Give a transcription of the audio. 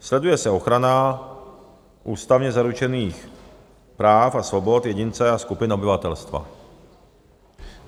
Sleduje se ochrana ústavně zaručených práv a svobod jedince a skupin obyvatelstva.